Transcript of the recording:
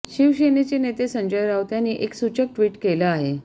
शिवसेनेचे नेते संजय राऊत यांनी एक सूचक ट्विट केलं आहे